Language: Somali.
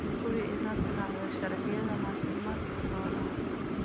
Hubi inaad raacdo sharciyada caafimaadka xoolaha.